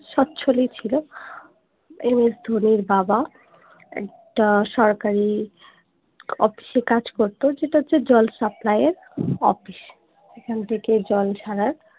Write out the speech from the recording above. স্বচ্ছলই ছিল ms ধোনির বাবা একটা সরকারী অফিসে কাজ করতো যেটা হচ্ছে জল supply এর অফিস এখান থেকে জল ছাড়ার